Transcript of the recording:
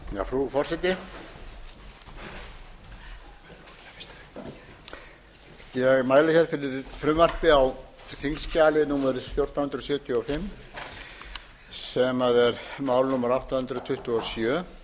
frú forseti ég mæli fyrir frumvarpi á þingskjali fjórtán hundruð sjötíu og fimm sem er mál númer átta hundruð tuttugu og sjö